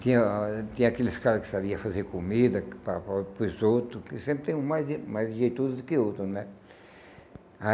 Tinha tinha aqueles caras que sabiam fazer comida para para o para os outros, que sempre tem um mais mais jeitoso do que o outro, né?